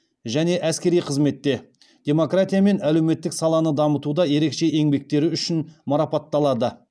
және әскери қызметте демократия мен әлеуметтік саланы дамытуда ерекше еңбектері үшін марапаталады